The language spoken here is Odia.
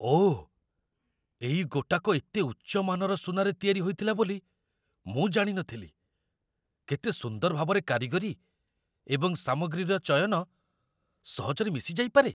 ଓଃ, ଏଇ ଗୋଟାକ ଏତେ ଉଚ୍ଚ ମାନର ସୁନାରେ ତିଆରି ହୋଇଥିଲା ବୋଲି ମୁଁ ଜାଣି ନଥିଲି! କେତେ ସୁନ୍ଦର ଭାବରେ କାରିଗରୀ ଏବଂ ସାମଗ୍ରୀର ଚୟନ ସହଜରେ ମିଶିଯାଇପାରେ!